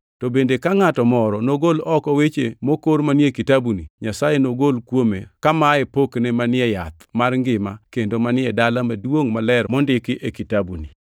To bende ka ngʼato moro nogol oko weche mokor manie kitabuni, Nyasaye nogol kuome kamaye pokne manie yath mar ngima kendo manie Dala Maduongʼ Maler, mondiki e kitabuni.